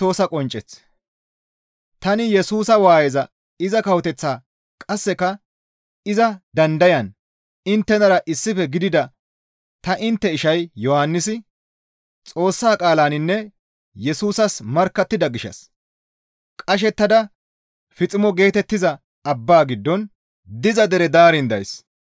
Tani Yesusa waayeza iza kawoteththaa qasseka iza dandayan inttenara issife gidida ta intte ishay Yohannisi Xoossa qaalaninne Yesusas markkattida gishshas qashettada Fiiximo geetettiza abba giddon diza dere daarin days.